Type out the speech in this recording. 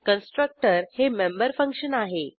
constructor हे member function आहे